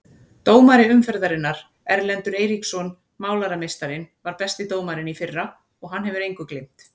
Dómari umferðarinnar: Erlendur Eiríksson Málarameistarinn var besti dómarinn í fyrra og hann hefur engu gleymt.